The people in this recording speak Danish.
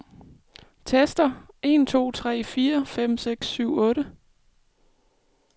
Tester en to tre fire fem seks syv otte.